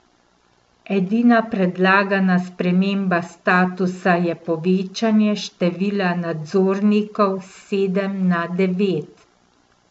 Edina predlagana sprememba statuta je povečanje števila nadzornikov s sedem na devet.